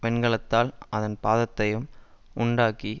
வெண்கலத்தால் அதன் பாதத்தையும் உண்டாக்கி